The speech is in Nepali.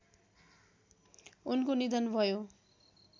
उनको निधन भयो